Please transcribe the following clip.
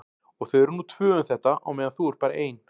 Og þau eru nú tvö um þetta á meðan þú ert bara ein.